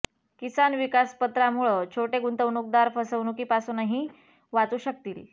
किसान विकास पत्रामुळं छोटे गुंतवणूकदार फसवणुकीपासूनही वाचू शकतील